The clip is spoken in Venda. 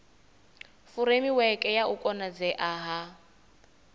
furemiweke ya u konadzea ha